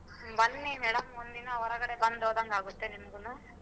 ಬನ್ನಿ madam ಒಂದಿನ ಹೊರಗಡೆ ಬಂದ್ ಹೋದಂಗಾಗತ್ತೆ ನಿಮ್ಗೂನು.